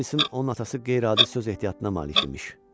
Ola bilsin onun atası qeyri-adi söz ehtiyatına malik imiş.